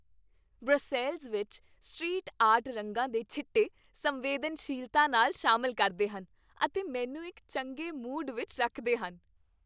Brussels ਵਿੱਚ street art ਰੰਗਾਂ ਦੇ ਛਿੱਟੇ ਸੰਵੇਦਨਸ਼ੀਲਤਾ ਨਾਲ ਸ਼ਾਮਿਲ ਕਰਦੇ ਹਨ ਅਤੇ ਮੈਨੂੰ ਇੱਕ ਚੰਗੇ ਮੂਡ ਵਿੱਚ ਰੱਖਦੇ ਹਨ।